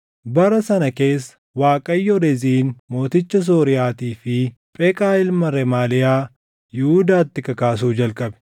Bara sana keessa Waaqayyo Reziin mooticha Sooriyaatii fi Pheqaa ilma Remaaliyaa Yihuudaatti kakaasuu jalqabe.